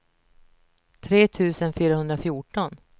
tre tusen fyrahundrafjorton